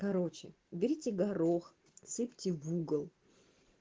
короче уберите горох сыпьте в угол